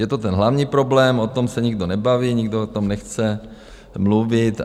Je to ten hlavní problém, o tom se nikdo nebaví, nikdo o tom nechce mluvit.